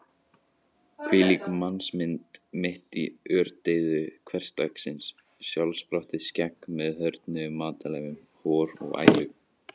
Hvílík mannsmynd mitt í ördeyðu hversdagsins: sjálfsprottið skegg með hörðnuðum matarleifum, hor og ælu.